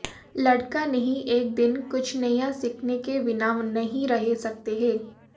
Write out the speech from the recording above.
लड़का नहीं एक दिन कुछ नया सीखने के बिना नहीं रह सकते हैं